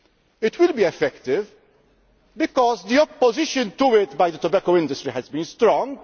It will be effective because the opposition to it by the tobacco industry has been